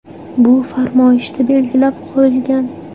Bu farmoyishda belgilab qo‘yilgan.